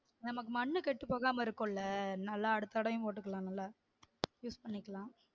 நமக்கு மண்ணு கெட்டு போகாம இருக்கும்ல நல்லா அடுத்த தடவையும் போட்டுகிடலாம்ல use பண்ணிக்கலாம்